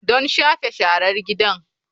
Don shafe sharar gida.